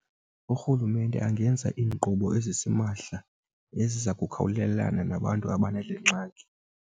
Urhulumente angenza iinkqubo ezisimahla eziza kukhawulelana nabantu abanale ngxaki.